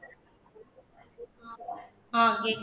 அஹ் கேக்குது